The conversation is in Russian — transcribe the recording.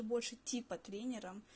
больше типа тренером